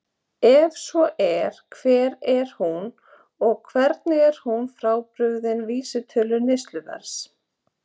Ef svo er, hver er hún og hvernig er hún frábrugðin vísitölu neysluverðs?